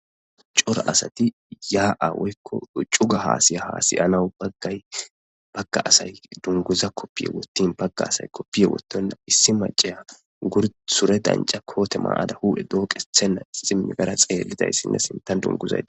Cora asati yaa7a woykko cuga haasaya haasa7inaw baggay bagga asay dungguza koppiya wottin bagga asay koppiya wottenna issi macciya gur sure dancca koote mayada huu7e dooqethen rara xaaridayssinne sinttan dungguzay di